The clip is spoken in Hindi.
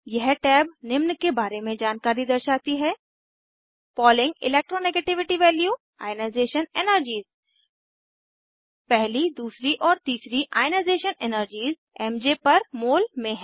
यह टैब निम्न के बारे में जानकारी दर्शाती है Pauling electro negativity value ionisation energies पहली दूसरी और तीसरी ionisation energies MJ per mole में हैं